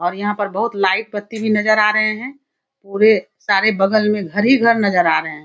और यहाँ पर बहोत लाइट बत्ती भी नजर आ रहें हैं। पूरे सारे बगल में घर-घर ही नजर आ रहे हैं।